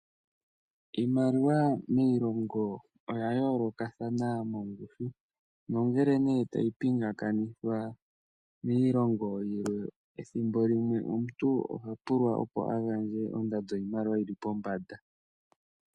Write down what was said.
Iimaliwa miilongo, oya yoolokathana mongushu. Nongele nee tayi pingakanitha miilongo yilwe, ethimbo limwe omuntu oha pulwa opo agandje ondando yiimaliwa yili pombanda.